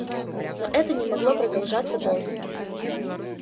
но это не могло продолжаться долго